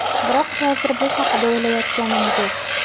Biroq hozir bu haqda o‘ylayotganim yo‘q.